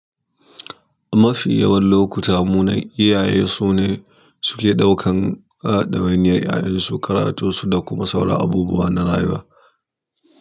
A mafi yawan lokuta, munen iyaye su ne suke ɗaukan ɗawainiyar ƴaƴansu, karatu da kuma sauran abubuwa na rayuwa.